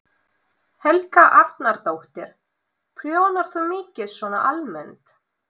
Helga Arnardóttir: Prjónar þú mikið svona almennt?